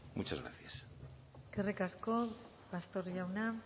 muchas gracias eskerrik asko pastor jauna